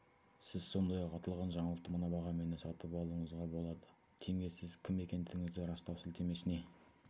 сіз сондай-ақ аталған жаңалықты мына бағамен де сатып алуыңызға болады тенге сіз кім екендігіңізді растау сілтемесіне